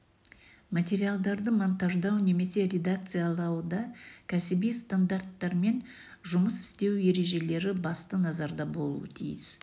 материалдарды монтаждау немесе редакциялауда кәсіби стандарттармен жұмыс істеу ережелері басты назарда болуы тиіс